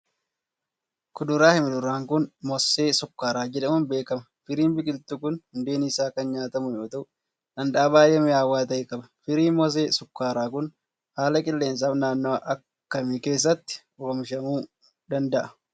Kuduraa fi muduraa kun, moosee sukkaaraa jedhamuun beekama. Firiin biqiltuu kun, hundeen isaa kan nyaatamu yoo ta'u, dhandhama baay'ee mi'aawaa ta'e qaba. Firiin moosee sukkaaraa kun, haala qilleensaa fi naannoo akka kamii keessatti oomishamuu danda'a.